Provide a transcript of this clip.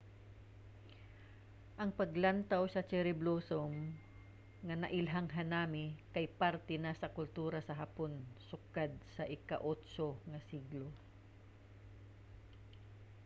ang paglantaw sa cherry blossom nga nailhang hanami kay parte na sa kultura sa hapon sukad sa ika-8 nga siglo